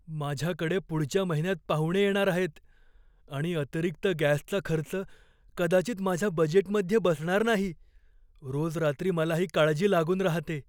माझ्याकडे पुढच्या महिन्यात पाहुणे येणार आहेत आणि अतिरिक्त गॅसचा खर्च कदाचित माझ्या बजेटमध्ये बसणार नाही. रोज रात्री मला ही काळजी लागून राहते.